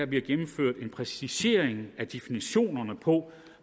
bliver gennemført en præcisering af definitionerne på